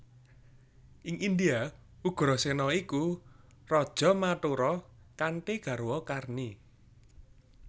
Ing India Ugrasena iku raja Mathura kanthi garwa Karni